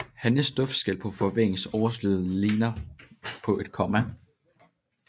Hannens duftskæl på forvingernes overside ligner et komma